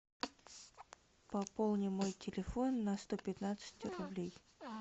пополни мой телефон на сто пятнадцать рублей